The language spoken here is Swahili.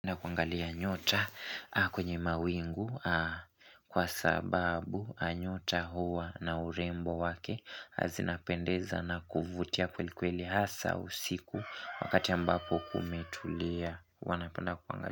Na kuangalia nyota kwenye mawingu kwa sababu nyota huwa na urembo wake zinapendeza na kuvutia kweli kweli hasa usiku wakati ambapo kumetulia huwa napenda kuangalia.